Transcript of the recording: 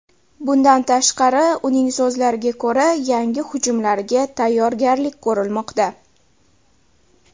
Bundan tashqari, uning so‘zlariga ko‘ra, yangi hujumlarga tayyorgarlik ko‘rilmoqda.